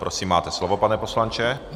Prosím, máte slovo, pane poslanče.